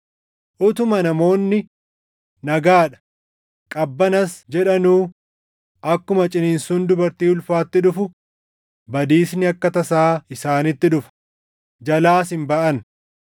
Utuma namoonni, “Nagaa dha; qabbanas” jedhanuu akkuma ciniinsuun dubartii ulfaatti dhufu badiisni akka tasaa isaanitti dhufa; jalaas hin baʼan.